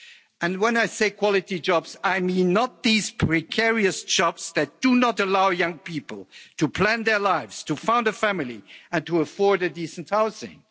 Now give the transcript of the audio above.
And when I say quality jobs, I mean not these precarious jobs that do not allow young people to plan their lives, to found a family and to afford decent housing.